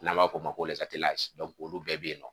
N b'a f'o ma ko olu bɛɛ bɛ yen nɔ